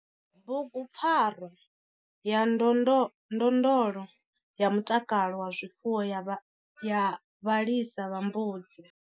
Bugupfarwa ya ndondolo ya mutakalo wa zwifuwo ya vhalisa vha mbudzi.